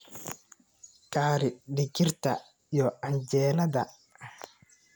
Kari digirta iyo canjeelada.